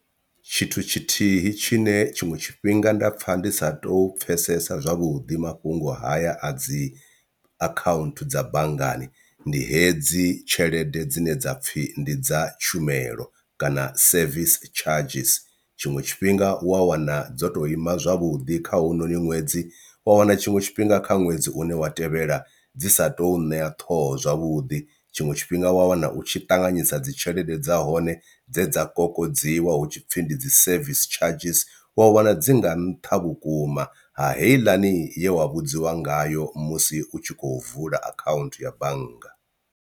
Tshithu tshithihi tshine tshiṅwe tshifhinga nda pfha ndi sa tou pfhesesa zwavhuḓi mafhungo haya a dzi account dza banngani ndi hedzi tshelede dzine dza pfhi ndi dza tshumelo kana service chargers, tshiṅwe tshifhinga wa wana dzo to ima zwavhuḓi kha hounoni ṅwedzi wa wana tshiṅwe tshifhinga kha ṅwedzi une wa tevhela dzi sa tu ṋea ṱhoho zwavhuḓi. Tshiṅwe tshifhinga wa wana u tshi ṱanganyisa dzi tshelede dzawe hone dze dza kokodziwa hutshipfi ndi dzi service chargers wa wana dzi nga nṱha vhukuma ha heiḽani ye wa vhudziwa ngayo musi utshi kho vula account ya bannga.